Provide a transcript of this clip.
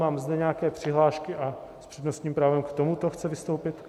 Mám zde nějaké přihlášky a s přednostním právem k tomuto chce vystoupit...?